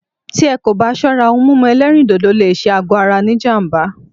Tí ẹ́ kò bá ṣọ́rá, òhún mímú ẹ̀lẹ́rìndodò lé ṣé àgọ ara ní jám̀bá.